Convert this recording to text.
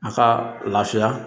A ka lafiya